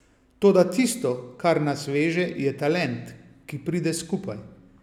Toda tisto, kar nas veže, je talent, ki pride skupaj.